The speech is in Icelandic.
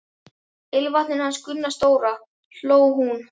Ilmvatninu hans Gunna stóra! hló hún.